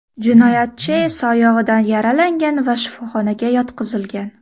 Jinoyatchi esa oyog‘idan yaralangan va shifoxonaga yotqizilgan.